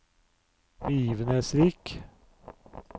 begivenhetsrik